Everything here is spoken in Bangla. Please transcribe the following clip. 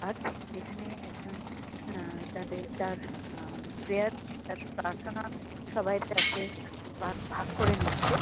আর এখানে একজন অ্যা তাদের তার অ্যা প্রেয়ার তার প্রার্থনা সবাই এর কাছে বাগ ভাগ করে নিচ্ছে।